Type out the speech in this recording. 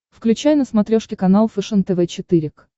включай на смотрешке канал фэшен тв четыре к